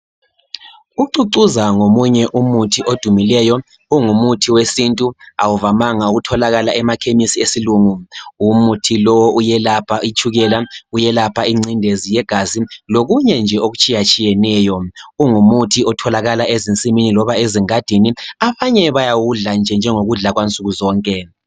Ucucuza ngomunye umuthi odumileyo ungumuthi wesintu awuvamanga ukutholakala emakhemisi esilungu umuthi lo uyelapha itshukela uyelapha incindezi yegazi lokunye nje okutshiyatshiyeneyo, ungumuthi otholakala ezinsimini loba ezingadini abanye bayawudla njengokudla kwansukuzonke.